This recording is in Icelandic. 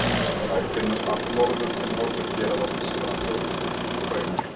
Þær finnast allt norður til norðurhéraða Þýskalands og austur til Úkraínu.